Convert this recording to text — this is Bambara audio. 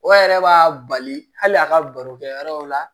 O yɛrɛ b'a bali hali a ka barokɛ yɔrɔ o la